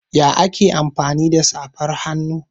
Ya ake amfani da safar hannu?